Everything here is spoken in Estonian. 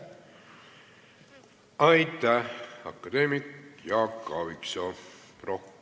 Aitäh, akadeemik Jaak Aaviksoo!